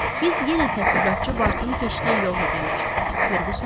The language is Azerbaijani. Biz yenə tədqiqatçı Bartın keçdiyi yola gəlib çıxdıq, Ferquson dedi.